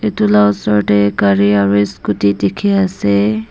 etu laga osor te gari aru scooty dekhi ase.